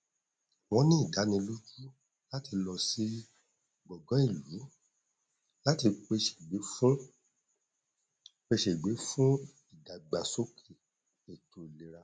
wọn ní ìdánilójú láti lọ sí gbọngàn ìlú láti pè ṣègbè fún pè ṣègbè fún ìdàgbásókè ètò ìlera